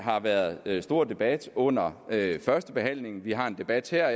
har været været stor debat under førstebehandlingen vi har en debat her og